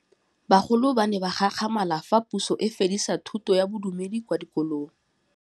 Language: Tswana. Bagolo ba ne ba gakgamala fa Pusô e fedisa thutô ya Bodumedi kwa dikolong.